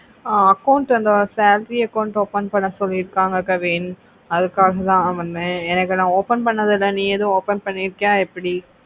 ஆஹ் account salary account open பண்ண சொல்லிருக்காங்க kavin அதுக்காகத்தா வந்த எனக்கு ந open பண்ணது இல்லே நீ ஏதும் open பண்ணிருக்கியா எப்டி?